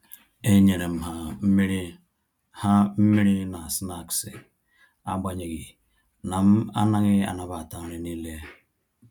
E nyerem ha mmiri ha mmiri na snaksi agbanyeghi na m-anaghị anabata nri n'ile